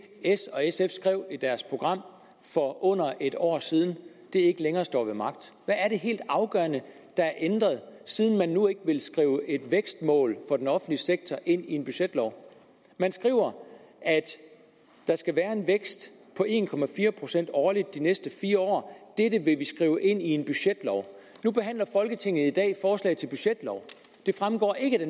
s og sf skrev i deres program for under et år siden ikke længere står ved magt hvad er det helt afgørende der er ændret siden man nu ikke vil skrive et vækstmål for den offentlige sektor ind i en budgetlov man skriver at der skal være en vækst på en procent årligt i de næste fire år dette ville man skrive ind i en budgetlov nu behandler folketinget i dag forslag til budgetlov det fremgår ikke af det